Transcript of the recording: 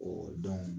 dɔn